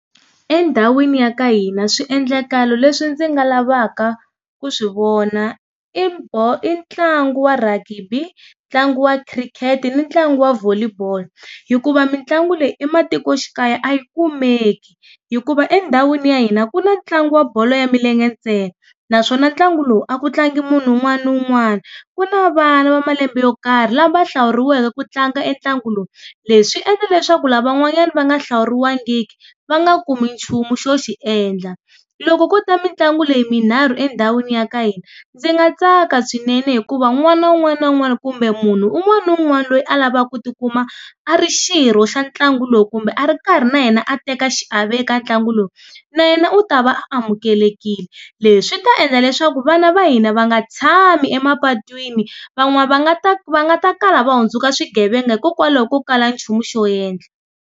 Endhawini ya ka hina swiendlakalo leswi ndzi nga lavaka ku swi vona i i ntlangu wa rhagibi, ntlangu wa khirikheti, ni ntlangu wa volley ball. Hikuva mitlangu leyi ematikoxikaya a yi kumeki. Hikuva endhawini ya hina ku na tlangu wa bolo ya milenge ntsena, naswona ntlangu lowu a ku tlangi munhu un'wani na un'wani. Ku na vana va malembe yo karhi lava hlawuriwike ku tlanga e ntlangu lowu. Leswi endla leswaku lavan'wanyani va nga hlawuriwangiki va nga ka kumi nchumu xo xiendla. Loko ko ta mitlangu leyi minharhu endhawini ya ka hina, ndzi nga tsaka swinene hikuva n'wana wun'wana na wun'wana kumbe munhu un'wana na un'wana loyi a lava ku ti kuma a ri xirho xa ntlangu lowu kumbe a ri karhi na yena teka xiave eka ntlangu lowu, na yena u ta va a amukelekile. Leswi ta endla leswaku vana va hina va nga tshami emapatwini, va va nga ta va nga ta kala va kala va hundzuka swighevenga hikokwalaho ko kala nchumu xo endla.